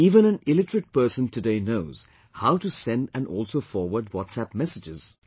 Even an illiterate person today knows how to send and also forward WhatsApp messages